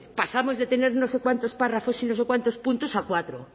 pasamos de tener no sé cuántos párrafos y no sé cuántos puntos a cuatro